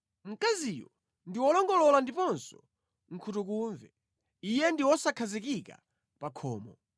(Mkaziyo ndi wolongolola ndiponso nkhutukumve, iye ndi wosakhazikika pa khomo.